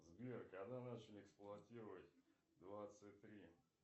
сбер когда начали эксплуатировать двадцать три